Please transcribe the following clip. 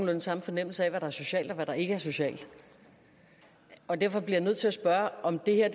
den samme fornemmelse af hvad der er socialt og hvad der ikke er socialt og derfor bliver jeg nødt til at spørge om det her